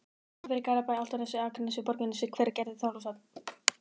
Kópavogi, Hafnarfirði, Garðabæ, Álftanesi, Akranesi, Borgarnesi, Hveragerði og Þorlákshöfn.